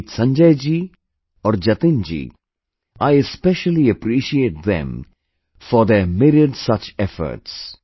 Be it Sanjay ji or Jatin ji, I especially appreciate them for their myriad such efforts